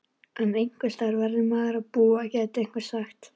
En einhversstaðar verður maðurinn að búa gæti einhver sagt?